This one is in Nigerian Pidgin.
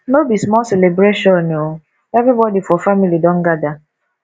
no be small celebration o everybodi for family don gada